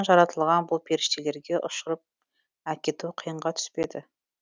жаратылған бұл періштелерге ұшұрып әкету қиынға түспеді